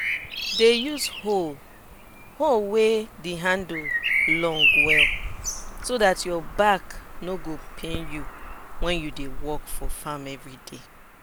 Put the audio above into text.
dey use hoe wey de handle long well so dat your back no go pain you wen u dey work for farm everyday